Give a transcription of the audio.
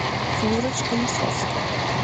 флюрочка лисовская